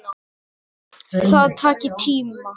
Það taki tíma.